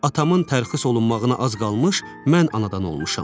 Atamın tərxis olunmağına az qalmış mən anadan olmuşam.